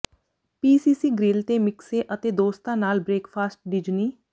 ਪੀ CC grill ਤੇ ਮਿਕਸੇ ਅਤੇ ਦੋਸਤਾਂ ਨਾਲ ਬ੍ਰੇਕਫਾਸਟ ਡਿਜਨੀ